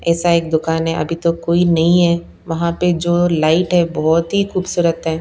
ऐसा एक दुकान है अभी तो कोई नहीं है वहां पर जो लाइट है बहुत ही खूबसूरत है।